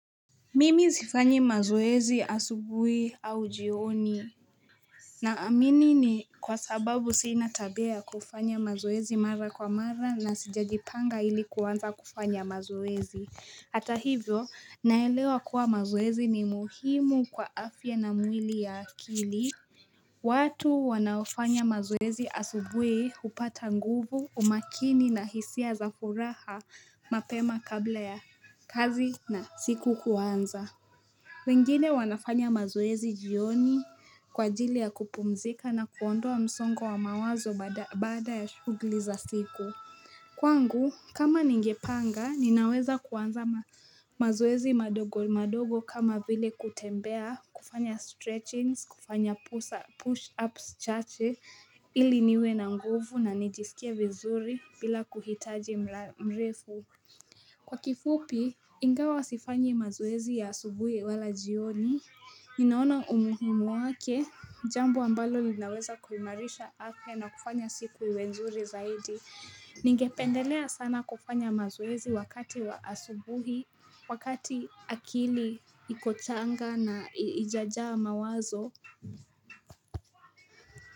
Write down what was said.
Mimi sifanyi mazoezi asubui au jioni Naamini ni kwa sababu sina tabia ya kufanya mazoezi mara kwa mara na sijajipanga ili kuanza kufanya mazoezi. Atahivyo naelewa kuwa mazoezi ni muhimu kwa afya na mwili ya akili watu wanaofanya mazoezi asubui hupata nguvu umakini na hisia za furaha mapema kabla ya kazi na siku kuanza wengine wanafanya mazoezi jioni kwa ajili ya kupumzika na kuondoa msongo wa mawazo baada ya shughuli za siku. Kwangu, kama ningepanga, ninaweza kuanza mazoezi madogo madogo kama vile kutembea, kufanya stretching, kufanya push-ups chache, ili niwe na nguvu na nijisikie vizuri bila kuhitaji mrefu. Kwa kifupi, ingawa sifanyi mazoezi ya asubuhi wala jioni. Ninaona umuhimu wake, jambo ambalo linaweza kuimarisha afya na kufanya siku iwe nzuri zaidi. Ningependelea sana kufanya mazoezi wakati wa asubuhi, wakati akili iko changa na haijajaa mawazo.